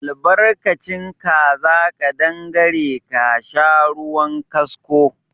Albarkacin kaza ƙadangare ka sha ruwan kasko.